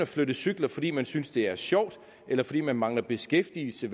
flytte cykler fordi man synes det er sjovt eller fordi man mangler beskæftigelse